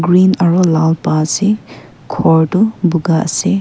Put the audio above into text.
green aru lal pa ase khor to buga ase.